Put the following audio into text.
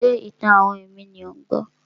Ṣé ìtàn-àwọn ẹ̀mí ni ò ń gbọ́?